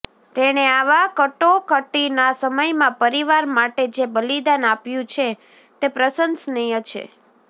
તેણે આવા કટોકટીના સમયમાં પરિવાર માટે જે બલિદાન આપ્યું છે તે પ્રશંસનીય છે